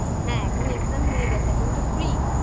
হ্যাঁ এখন exam হয়ে গেছে এখন তো free